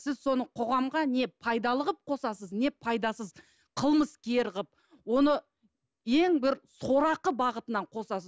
сіз соны қоғамға не пайдалы қылып қосасыз не пайдасыз қылмыскер қылып оны ең бір сорақы бағытынан қосасыз